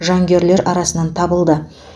жангүйерлер арасынан табылды